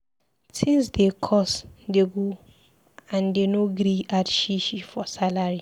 Tins dey cost dey go and dey no gree add shishi for salary.